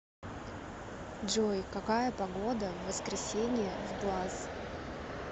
джой какая погода в воскресенье в глаз